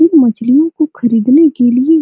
इन मछलियों को खरीदने के लिए --